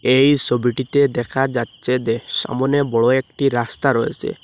এই ছবিটিতে দেখা যাচ্ছে যে সামনে বড় একটি রাস্তা রয়েসে।